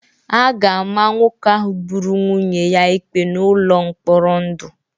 A ga-ama nwoke ahụ gburu nwunye ya ikpe n'ụlọ mkpọrọ ndụ